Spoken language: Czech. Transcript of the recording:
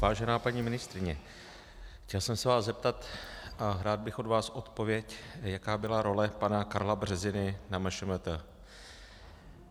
Vážená paní ministryně, chtěl jsem se vás zeptat a rád bych od vás odpověď, jaká byla role pana Karla Březiny na MŠMT.